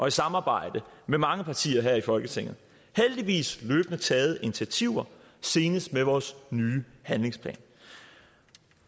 i samarbejde med mange partier her i folketinget heldigvis løbende taget initiativer senest med vores nye handlingsplan